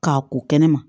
K'a ko kɛnɛma